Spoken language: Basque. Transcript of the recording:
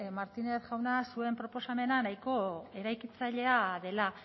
martínez jauna zuen proposamena nahiko eraikitzailea dela